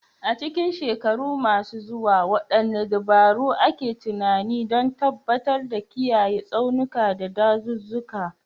A cikin shekaru masu zuwa, wadanne dabaru ake tunani don tabbatar da kiyaye tsaunuka, da dazuzzuka